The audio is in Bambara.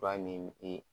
Fura ni i